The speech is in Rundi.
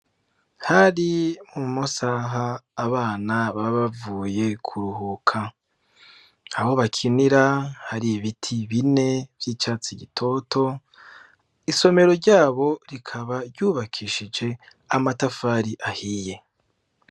Hari mu masaha abana babavuye kuruhuka aho bakinira hari ibiti bine vy'icatsi gitoto isomero ryabo rikaba ryubakishije amatafari ahiye.